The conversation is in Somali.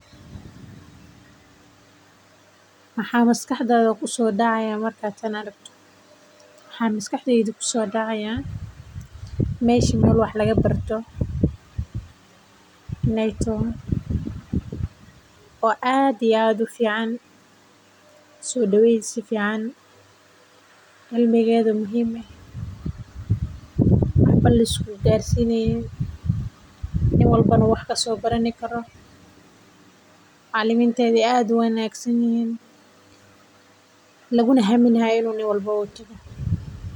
Maxaa maskaxdada kusoo dacaaya markaad aragto waxaa maskaxdeyda kusoo dacaaya meeshan meel wax lagu barto inaay tahay oo cimigeeda muhiim aay tahay nin walbo uu waxa kasoo baran karo laguna hamini haayo in wax laga soo barto.